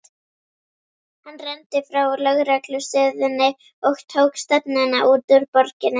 Hann renndi frá lögreglustöðinni og tók stefnuna út úr borginni.